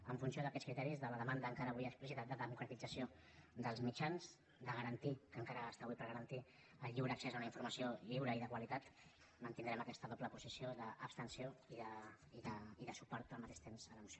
en funció d’aquests criteris de la demanda encara avui explícita de democratització dels mitjans de garantir que encara està avui per garantir el lliure accés a una informació lliure i de qualitat mantindrem aquesta doble posició d’abstenció i de suport al mateix temps a la moció